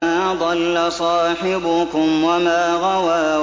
مَا ضَلَّ صَاحِبُكُمْ وَمَا غَوَىٰ